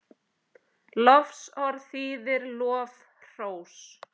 Lofsorð þýðir lof, hrós.